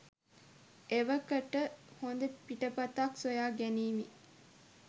එවකට හොඳ පිටපතක් සොයා ගැනීමෙ